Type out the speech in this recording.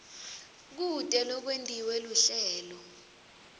kute kwentiwe luhlelo